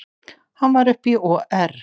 Hann var upp í OR